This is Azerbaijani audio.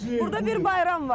Burda bir bayram var.